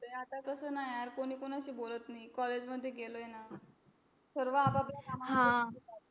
आता कस यार कोणी कोनशी बोलत नाही college मध्ये गेलोय ना सगळे आपल्या कामाशी पाहतीत